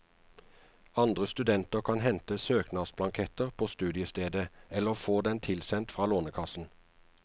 Andre studenter kan hente søknadsblanketter på studiestedet eller få den tilsent fra lånekassen.